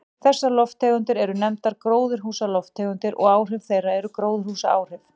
Þessar lofttegundir eru nefndar gróðurhúsalofttegundir og áhrif þeirra gróðurhúsaáhrif.